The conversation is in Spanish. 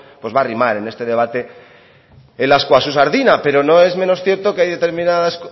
va a arrimar en este debate el ascua a su sardina pero no es menos cierto que hay determinadas